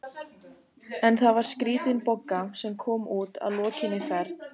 En það var skrítin Bogga sem kom út að lokinni ferð.